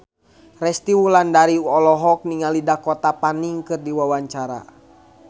Resty Wulandari olohok ningali Dakota Fanning keur diwawancara